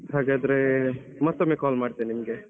ಹಾಗಾದ್ರೆ ಮತ್ತೊಮ್ಮೆ call ಮಾಡ್ತೇನೆ ನಿಮಗೆ.